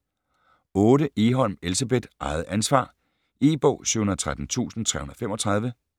8. Egholm, Elsebeth: Eget ansvar E-bog 713335